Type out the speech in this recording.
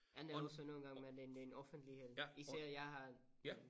Men også nogle gange med den den offentlighed især jeg har